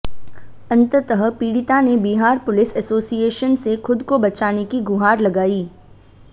अंततः पीड़िता ने बिहार पुलिस एसोसिएसन से खुद को बचाने की गुहार लगाई